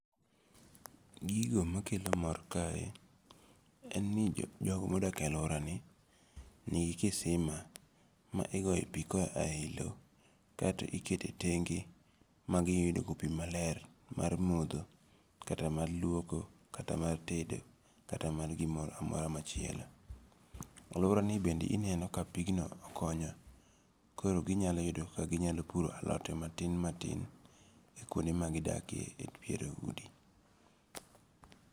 Gigo makelomor kae, en ni jogo ma odakie aluorani, nigi kisima ma igoye pi koyae e yi lo kaeto ikete tenge ma iyudogo pi maler mar motho, kata mar luoko, kata mar tedo kata mar gimoro amora machielo. Aluorani bende ineno ka pigno okonyo koro ginyalo yudo kaka ginyalo puro alot matin matin kuonde ma gidakie e pier udi.